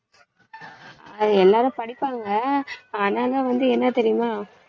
எல்லாரும் படிப்பாங்க ஆனானா வந்து என்ன தெரியுமா?